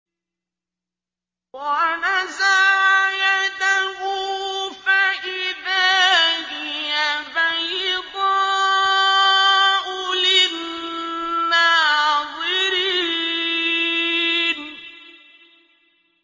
وَنَزَعَ يَدَهُ فَإِذَا هِيَ بَيْضَاءُ لِلنَّاظِرِينَ